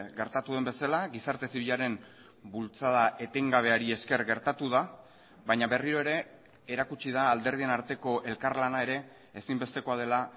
gertatu den bezala gizarte zibilaren bultzada etengabeari esker gertatu da baina berriro ere erakutsi da alderdien arteko elkarlana ere ezinbestekoa dela